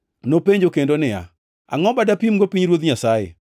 Nopenjo kendo niya, “Angʼo ma dapimgo pinyruoth Nyasaye?